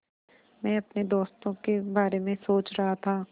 मैं अपने दोस्तों के बारे में सोच रहा था